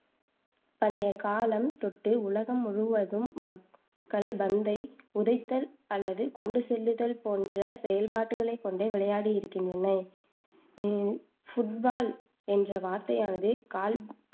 பண்டைய காலம் தொட்டு, உலகம் முழுவதும் மக்கள் பந்தை உதைத்தல் அல்லது கொண்டு செல்லுதல் போன்ற செயல்பாடுகளைக் கொண்டு விளையாடி இருக்கின்றனர். ஹம் ஃபுட்பால் என்ற வார்த்தையானது கால்